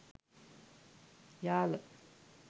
yala